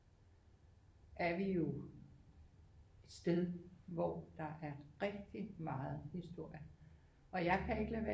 Er vi jo et sted hvor der er rigtig meget historie og jeg kan ikke lade være med